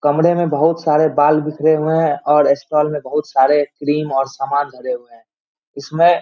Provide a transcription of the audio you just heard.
कमरे में बहुत सारे बाल बिखरे हुए हैं और स्टाल में बहुत सारे क्रीम और समान भरे हुए हैं इसमें--